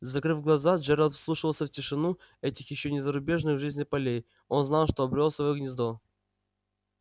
закрыв глаза джералд вслушивался в тишину этих ещё не разбуженных к жизни полей он знал что обрёл своё гнездо